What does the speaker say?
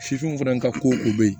Fifinw fana ka ko ko be yen